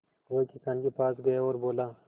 वह किसान के पास गया और बोला